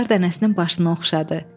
Qar dənəsinin başını oxşadı.